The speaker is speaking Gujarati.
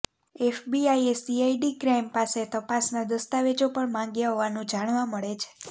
એફબીઆઈએ સીઆઈડી ક્રાઈમ પાસે તપાસના દસ્તાવેજો પણ માંગ્યા હોવાનું જાણવા મળે છે